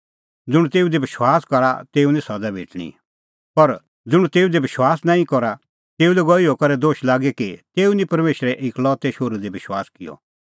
ज़ुंण तेऊ दी विश्वास करा तेऊ निं सज़ा भेटणीं पर ज़ुंण तेऊ दी विश्वास नांईं करा तेऊ लै गअ इहअ करै दोश लागी कि तेऊ निं परमेशरे एकलौतै शोहरू दी विश्वास किअ